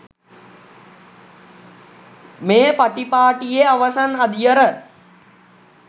මේ පටිපාටියේ අවසන් අදියර